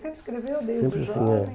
Sempre escreveu desde jovem? Sempre assim, é.